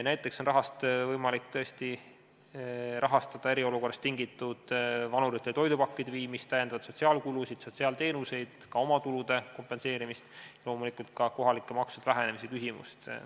Näiteks on sellest võimalik rahastada vanuritele toidupakkide viimist eriolukorrast tingituna, sotsiaalkulusid, sotsiaalteenuseid, samuti omatulude kompenseerimist ja loomulikult ka leevendada kohalike maksude vähenemise küsimust.